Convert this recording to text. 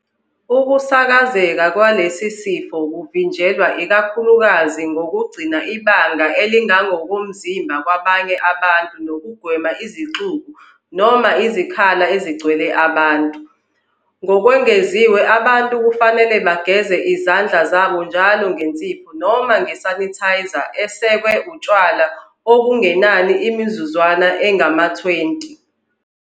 Ukusakazeka kwalesi sifo kuvinjelwa ikakhulukazi ngokugcina ibanga elingokomzimba kwabanye abantu nokugwema izixuku noma izikhala ezigcwele abantu. Ngokwengeziwe abantu kufanele bageze izandla zabo njalo ngensipho noma nge-sanitizer esekwe utshwala okungenani imizuzwana engama-20.